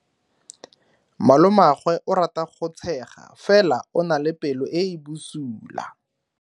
Malomagwe o rata go tshega fela o na le pelo e e bosula.